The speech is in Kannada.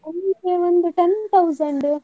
ಅಂದ್ರೆ ಒಂದು ten thousand .